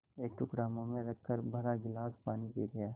एक टुकड़ा मुँह में रखकर भरा गिलास पानी पी गया